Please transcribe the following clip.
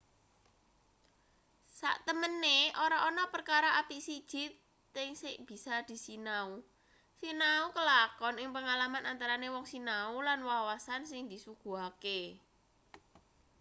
saktemene ora ana perkara apik siji thk sing bisa disinau sinau kelakon ing pengalaman antarane wong sinau lan wawasan sing disuguhake